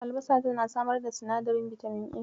Albasa tana samar da sinadarin bitamin A.